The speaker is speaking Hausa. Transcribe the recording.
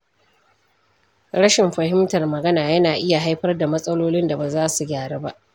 Rashin fahimtar magana yana iya haifar da matsalolin da baza su gyaru ba.